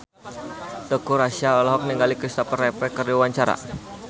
Teuku Rassya olohok ningali Kristopher Reeve keur diwawancara